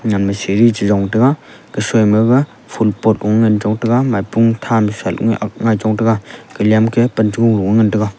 nyam ma siri chiron tega kasoi maga ful pot ong ngan chontega maipua tham ngai ong chontega giliya ma ke panchong lo ngan tega.